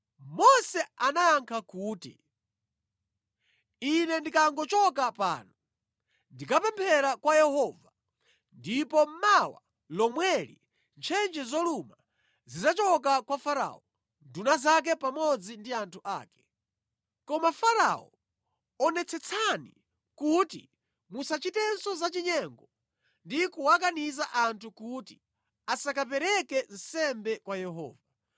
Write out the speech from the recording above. Mose anayankha kuti, “Ine ndikangochoka pano, ndikapemphera kwa Yehova ndipo mawa lomweli ntchentche zoluma zidzachoka kwa Farao, nduna zake pamodzi ndi anthu ake. Koma Farao, onetsetsani kuti musachitenso zachinyengo ndi kuwakaniza anthu kuti asakapereke nsembe kwa Yehova.”